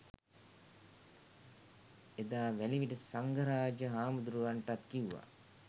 එදා වැලිවිට සංඝරාජ හාමුදුරුවන්ටත් කිව්වා